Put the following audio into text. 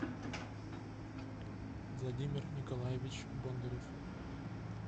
владимир николаевич бондарев